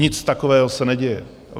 Nic takového se neděje.